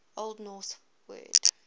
old norse word